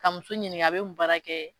Ka muso ɲininka a bɛ mun baara kɛ